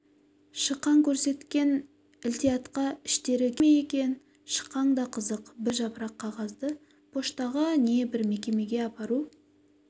шықаң көрсеткен ілтиаатқа іштері күйе ме екен шықаң да қызық бір жапырақ қағазды поштаға не бір мекемеге апару